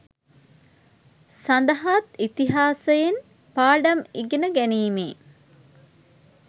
සඳහාත් ඉතිහාසයෙන් පාඩම් ඉගෙන ගැනීමේ